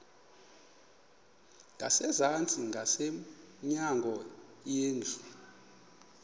ngasezantsi ngasemnyango indlu